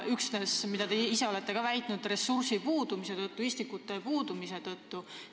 Tõdetakse seda, et metsa uuendamine on erametsaomanikele raskendatud juba üksnes ressursi, istikute puudumise tõttu.